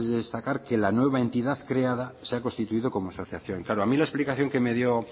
de destacar que la nueva entidad creada se ha constituido como asociación claro a mí la explicación que me dio